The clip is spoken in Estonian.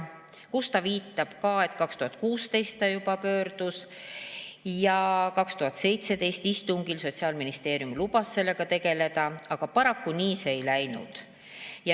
Ta viitas ka, et 2016 ta juba pöördus ja 2017. aasta istungil Sotsiaalministeerium lubas sellega tegeleda, aga paraku see nii ei ole läinud.